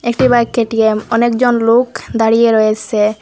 একটি bike K T M অনেকজন লোক দাঁড়িয়ে রয়েসে।